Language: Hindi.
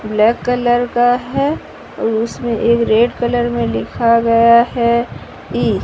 ब्लैक कलर का है और उसमें एक रेड कलर में लिखा गया है ई --